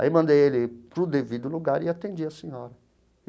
Aí mandei ele para o devido lugar e atendi a senhora.